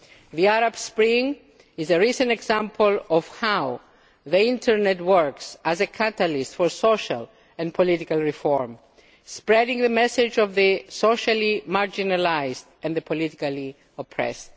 The Arab Spring is a recent example of how the internet works as a catalyst for social and political reform, spreading the message of the socially marginalised and the politically oppressed.